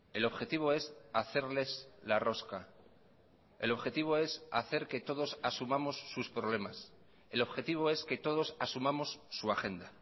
el objetivo es hacerles la rosca el objetivo es hacer que todos asumamos sus problemas el objetivo es que todos asumamos su agenda